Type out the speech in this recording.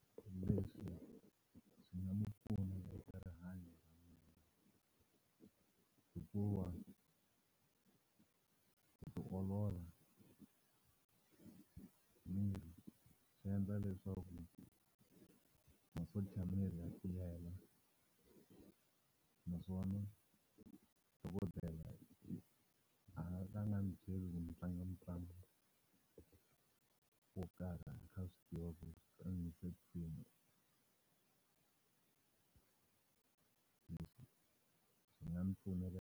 Leswi swi nga mi pfuna eka rihanyo ra mina hikuva ku ti olola miri swi endla leswaku masocha ya miri ya tiyela naswona dokodela a nga ka a ni byeli ku ni tlanga mitlangu wo karhi a kha swi tiva .